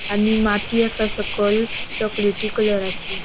आणि माती आसा सकल चोकलेटी कलराची .